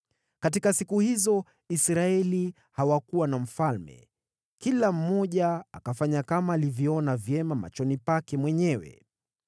Katika siku hizo Israeli hawakuwa na mfalme, kila mmoja akafanya kama alivyoona vyema machoni pake mwenyewe.